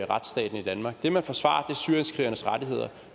retsstaten i danmark det man forsvarer er syrienskrigernes rettigheder